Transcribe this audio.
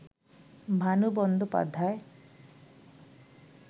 Bhanu Bandopadhyay